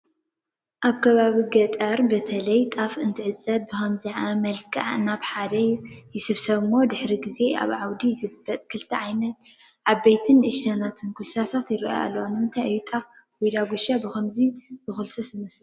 ኣብ ከባቢ ገጠር እኽሊ በተለይ ጣፍ እንንተዓፂዱ ብኸምዚ መልክዕ ናብ ሓደ ይስብሰብ እሞ ድሕሪ ጊዜ ኣብ ዓውዲ ይዝበጥ፡፡ ክልተ ዓብይን ንእሽተይን ኩልስስቲ ይራኣያ ኣለዋ፡፡ ንምንታይ እዩ ጣፍ ወይ ዳጉሻ ብኸምዚ ዝኹልሰስ ይመስለኩም?